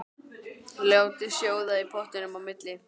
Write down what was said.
Látið sjóða í pottinum á milli.